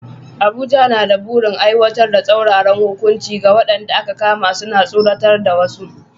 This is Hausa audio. Abuja na da burin aiwatar da tsauraran hukunci ga waɗanda aka kama suna tsoratar da wasu.